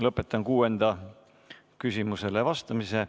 Lõpetan kuuendale küsimusele vastamise.